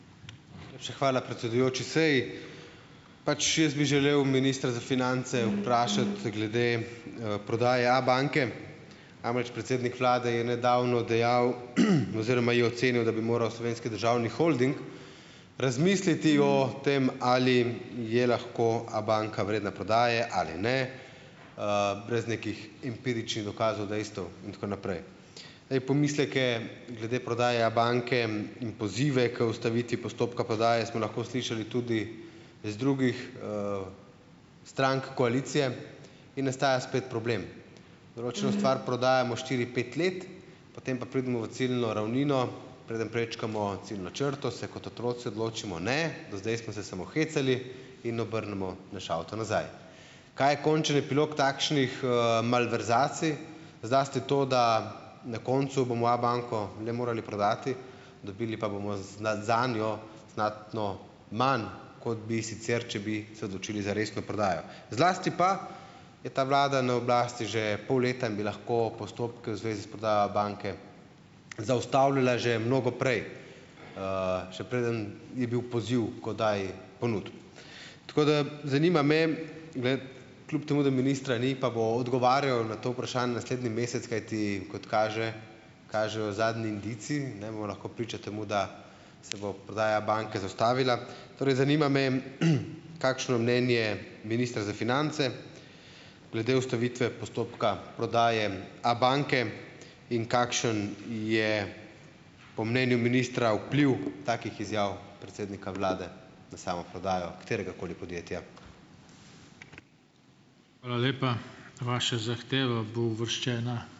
Najlepša hvala, predsedujoči. Saj, pač jaz bi želel ministra za finance vprašati glede, prodaje Abanke. Namreč, predsednik vlade je nedavno dejal oziroma je ocenil, da bi moral Slovenski državni holding razmisliti o tem, ali je lahko Abanka vredna prodaje ali ne, brez nekih empiričnih dokazov, dejstev in tako naprej. Zdaj, pomisleke glede prodaje Abanke in pozive k ustavitvi postopka prodaje smo lahko slišali tudi iz drugih, strank koalicije in nastaja spet problem. Določeno stvar prodajamo štiri, pet let, potem pa pridemo v ciljno ravnino, preden prečkamo ciljno črto, se kot otroci odločimo, ne, do zdaj smo se samo hecali in obrnemo naš avto nazaj. Kaj je končen epilog takšnih, malverzacij? Zlasti to, da na koncu bomo Abanko le morali prodati, dobili pa bomo zanjo znatno manj kot bi sicer, če bi se odločili za resno prodajo. Zlasti pa je ta vlada na oblasti že pol leta in bi lahko postopke v zvezi s prodajo Abanke zaustavila že mnogo prej, še preden je bil poziv k oddaji ponudb. Tako da zanima me, ne, kljub temu, da ministra ni, pa bo odgovarjal na to vprašanje naslednji mesec, kajti kot kaže, kažejo zadnji indici, ne, bomo lahko priča temu, da se bo prodaja Abanke zaustavila. Torej zanima me, kakšno mnenje minister za finance glede ustavitve postopka prodaje Abanke in kakšen je po mnenju ministra vpliv takih izjav predsednika vlade na samo prodajo kateregakoli podjetja.